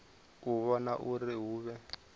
u vhona uri hu vhe